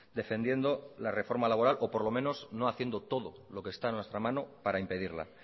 defendiendo la reforma laboral o por lo menos no haciendo todo lo que está en nuestra mano para impedirla